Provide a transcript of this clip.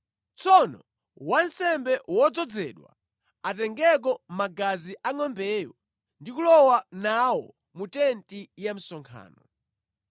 Tsono wansembe wodzozedwa atengeko magazi a ngʼombeyo ndi kulowa nawo mu tenti ya msonkhano.